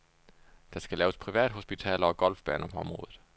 Der skal laves privathospitaler og golfbaner på området.